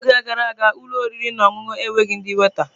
N'oge gara aga, ụlọ oriri na ọṅụṅụ enweghị ndị waita.